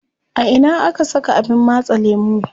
A ina aka saka abin matse lemu?